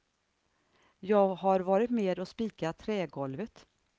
Jag har varit med och spikat trägolvet.